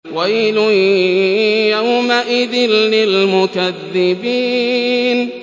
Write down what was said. وَيْلٌ يَوْمَئِذٍ لِّلْمُكَذِّبِينَ